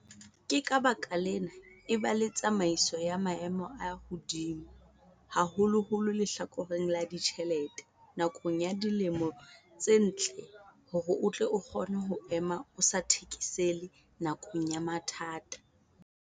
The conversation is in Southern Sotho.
Ka baka lena, eba le tsamaiso ya maemo a hodimo, haholoholo lehlakoreng la ditjhelete nakong ya dilemo tse ntle hore o tle o kgone ho ema o sa thekesele nakong ya mathata.